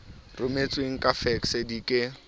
rometsweng ka fekse di ke